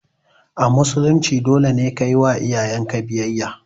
A musulunci dole ne kayiwa iyayenka biyayya